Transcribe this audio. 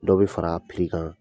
Dɔw bi fara a kan.